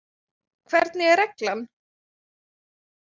Hvernig er reglan?